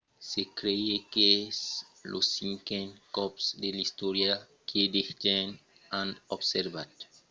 se crei qu’es lo cinquen còp de l’istòria que de gents an observat çò que se revelèt èsser de material marcian confirmat quimicament que tomba sus tèrra